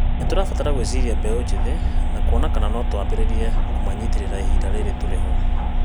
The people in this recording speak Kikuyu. Nĩtũrabatara gũĩciria mbeũ njĩthĩ na kuona kana no twambĩrĩrie kũmanyitĩrĩra ihinda rĩrĩ tũrĩ ho